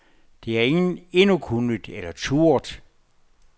Det har ingen endnu kunnet, eller turdet.